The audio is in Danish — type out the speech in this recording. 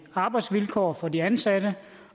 arbejdsvilkår for de ansatte